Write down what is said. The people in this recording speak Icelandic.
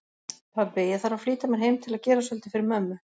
Pabbi, ég þarf að flýta mér heim til að gera svolítið fyrir mömmu